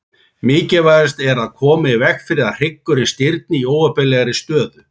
Mikilvægast er að koma í veg fyrir að hryggurinn stirðni í óheppilegri stöðu.